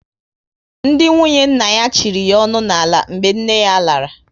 Ndị nwunye nna ya chịrị ya onu n'ala mgbe nne yá lara